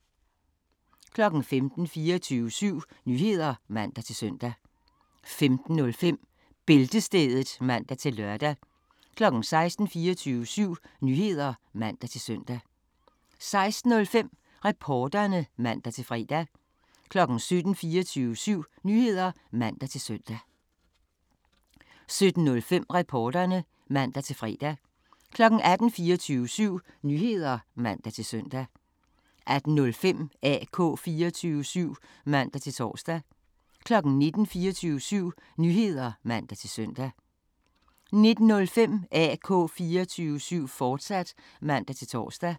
15:00: 24syv Nyheder (man-søn) 15:05: Bæltestedet (man-lør) 16:00: 24syv Nyheder (man-søn) 16:05: Reporterne (man-fre) 17:00: 24syv Nyheder (man-søn) 17:05: Reporterne (man-fre) 18:00: 24syv Nyheder (man-søn) 18:05: AK 24syv (man-tor) 19:00: 24syv Nyheder (man-søn) 19:05: AK 24syv, fortsat (man-tor)